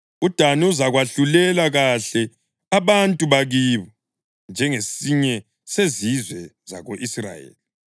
UDani uzakwahlulela kahle abantu bakibo njengesinye sezizwe zako-Israyeli.